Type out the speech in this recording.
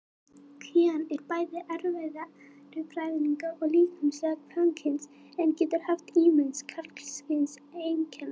Kvígan er bæði erfðafræðilega og líkamlega kvenkyns en getur haft ýmis karlkyns einkenni.